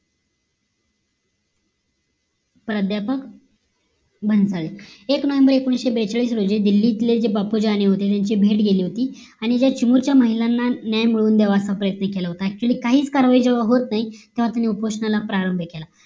प्राध्यापक बनसाळे एक नोव्हेंबर एकोणीशे बेचाळीस रोजी दिल्लीतले जे बापूजननी होते ते भेट घेतले होती आणि जे ज्या चिमूरच्या महिलांना न्याय मिळून द्यावा असा प्रयत्न केला होता actually काहीच कारवाही जेव्हा होत नाही तेव्हा त्यांनी उपोषणाला प्रारंभ केला